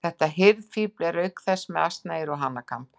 Þetta hirðfífl er auk þess með asnaeyru og hanakamb.